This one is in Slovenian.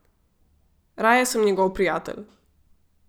Raje sem njegov prijatelj.